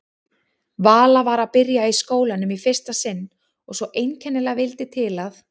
Vala var að byrja í skólanum í fyrsta sinn og svo einkennilega vildi til að